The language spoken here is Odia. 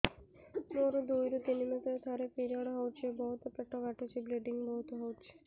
ମୋର ଦୁଇରୁ ତିନି ମାସରେ ଥରେ ପିରିଅଡ଼ ହଉଛି ବହୁତ ପେଟ କାଟୁଛି ବ୍ଲିଡ଼ିଙ୍ଗ ବହୁତ ହଉଛି